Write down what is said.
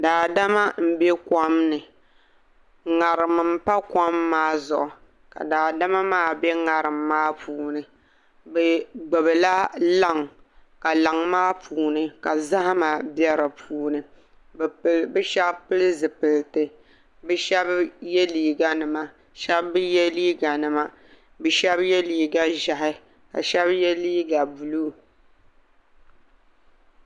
Daadama m-be kom ni ŋarim m-pa kom maa zuɣu ka daadama maa be ŋarim maa puuni bɛ gbubi la laŋ ka laŋ maa puuni ka zahima be di puuni bɛ shɛba pili zupiliti bɛ shɛba ye liiga nima shɛba bi ye liiga nima bɛ shɛba ye liiga ʒɛhi ka shɛba ye liiga buluu.